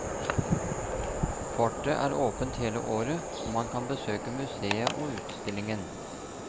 Fortet er åpent hele året og man kan besøke museet og utstillingen.